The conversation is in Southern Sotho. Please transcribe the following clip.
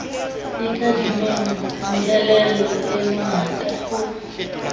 ikadimeng meelelo e mengata ho